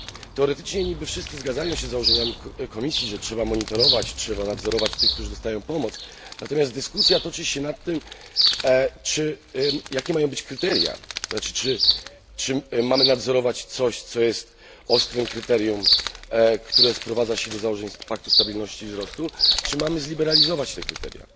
Teoretycznie niby wszyscy zgadzają się z założeniami Komisji, że trzeba monitorować i nadzorować tych, którzy dostają pomoc, natomiast dyskusja toczy się nad tym, jakie mają być kryteria czy mamy nadzorować coś, co jest ostrym kryterium, które sprowadza się do założeń paktu stabilności i wzrostu, czy mamy zliberalizować te kryteria?